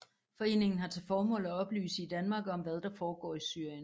Foreningen har til formål at oplyse i Danmark om hvad der foregår i Syrien